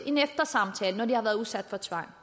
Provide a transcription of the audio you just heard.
en eftersamtale når de har været udsat for tvang